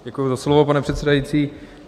Děkuji za slovo, pane předsedající.